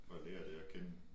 For at lære det at kende